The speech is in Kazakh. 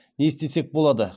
не істесек болады